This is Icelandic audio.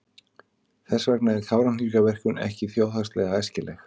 Þess vegna er Kárahnjúkavirkjun ekki þjóðhagslega æskileg.